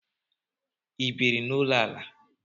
Ị biiri n'ụlọ ala?